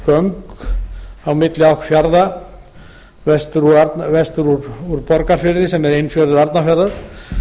göng á milli fjarða vestur úr borgarfirði sem er innfjörður arnarfjarðar